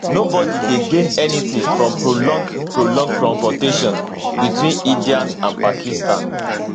nobody dey gain anytin from prolonged prolonged confrontation between india and pakistan